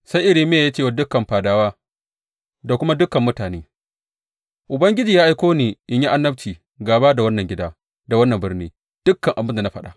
Sai Irmiya ya ce wa dukan fadawa da kuma dukan mutane, Ubangiji ya aiko ni in yi annabci gāba da wannan gida da wannan birni dukan abin da na faɗa.